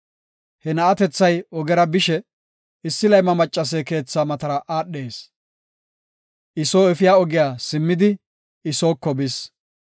He na7atethay ogera bishe, issi layma maccase keethaa matara aadhees; I soo efiya ogiya simmidi I sooko bis.